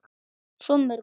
Svo mörgu.